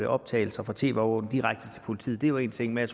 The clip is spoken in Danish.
optagelser fra tv overvågning direkte til politiet det er jo en ting men